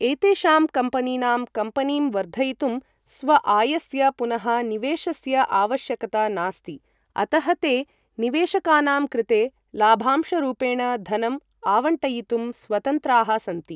एतेषां कम्पनीनां कम्पनीं वर्धयितुं स्वआयस्य पुनः निवेशस्य आवश्यकता नास्ति, अतः ते निवेशकानां कृते लाभांशरूपेण धनं आवंटयितुं स्वतन्त्राः सन्ति